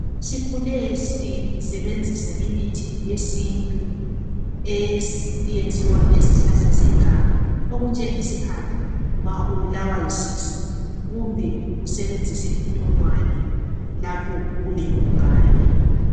Sikhule sisebenzisa imithi yesintu eyenziwa ngezihlahla zeganga okunjengesihaqa nxa ubulawa yisisu kumbe usebenzise intolwane lapho ulengubhane.